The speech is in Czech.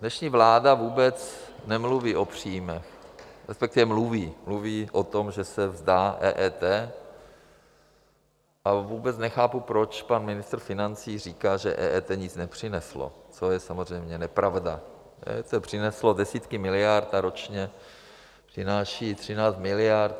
Dnešní vláda vůbec nemluví o příjmech, Respektive mluví, mluví o tom, že se vzdá EET, ale vůbec nechápu, proč pan ministr financí říká, že EET nic nepřineslo, což je samozřejmě nepravda, EET přineslo desítky miliard a ročně přináší 13 miliard.